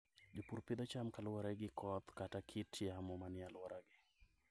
Jopur pidho cham kaluwore gi koth kata kit yamo manie alworagi.